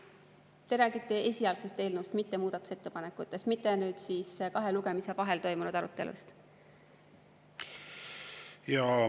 Kas te räägite esialgsest eelnõust, mitte muudatusettepanekutest, mitte kahe lugemise vahel toimunud arutelust?